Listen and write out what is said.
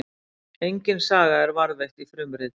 Engin saga er varðveitt í frumriti.